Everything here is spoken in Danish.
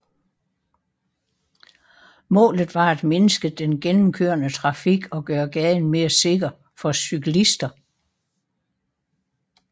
Målet var at mindske den gennemkørende trafik og gøre gaden mere sikker for cyklister